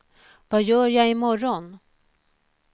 vad gör jag imorgon